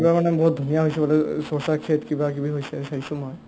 এইবাৰ মানে বহুত ধুনীয়া হৈছে বোলে অ কিবাকিবি হৈছে চাইছো মই